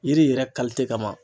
Yiri yɛrɛ kama.